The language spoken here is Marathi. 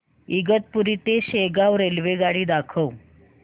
इगतपुरी ते शेगाव रेल्वेगाडी दाखव